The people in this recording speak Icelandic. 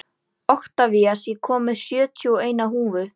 Oktavías, ég kom með sjötíu og eina húfur!